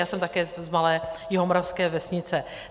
Já jsem také z malé jihomoravské vesnice.